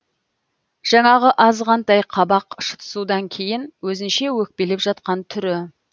жаңағы азғантай қабақ шытысудан кейін өзінше өкпелеп жатқан түрі